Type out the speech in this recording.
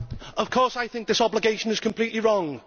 Of course I think this obligation is completely wrong.